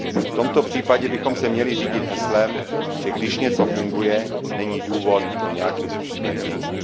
V tomto případě bychom se měli řídit heslem, že když něco funguje, není důvod to nějakým způsobem měnit.